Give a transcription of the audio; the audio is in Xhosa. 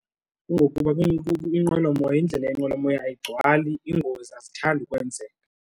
Kungokuba inqwelomoya, indlela yenqwelomoya agcwali iingozi azithandi ukwenzeka.